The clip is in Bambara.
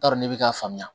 T'a dɔn ne bɛ k'a faamu